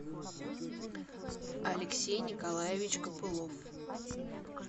алексей николаевич копылов